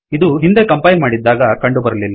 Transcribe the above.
ಇದು ಹಿಂದೆ ಕಂಪೈಲ್ ಮಾಡಿದ್ದಾಗ ಕಂಡುಬರಲಿಲ್ಲ